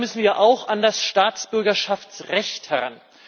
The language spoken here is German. Deshalb müssen wir auch an das Staatsbürgerschaftsrecht heran.